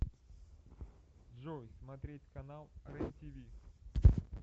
джой смотреть канал рен тиви